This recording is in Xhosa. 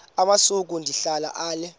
amasuka ndihlala ale